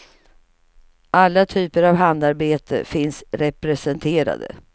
Alla typer av handarbete finns representerade.